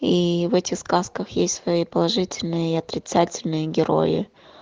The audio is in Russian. и в этих сказках есть свои положительные и отрицательные герои